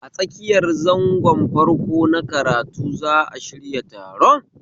A tsakiyan zangon farko na karatu za'a shirya taron